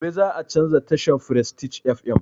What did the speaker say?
Gobe za a canza tashan frestige fm